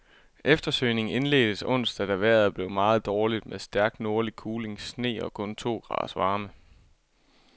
Eftersøgningen indledtes onsdag, da vejret blev meget dårligt med stærk nordlig kuling, sne og kun to graders varme.